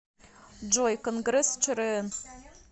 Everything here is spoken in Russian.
джой конгресс чрн